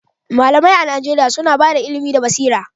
Malamai a Najeriya suna ba da ilimi da basira